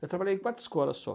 Eu trabalhei em quatro escolas só.